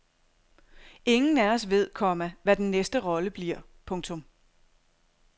Ingen af os ved, komma hvad den næste rolle bliver. punktum